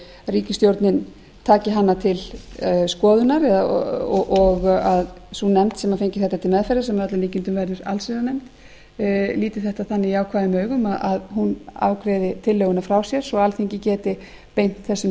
ríkisstjórnin taki hana til skoðunar og að sú nefnd sem fengi þetta til meðferðar sem að öllum líkindum verður allsherjarnefnd líti þetta þannig jákvæðum augum að hún afgreiði tillöguna frá sér svo alþingi geti beint þessum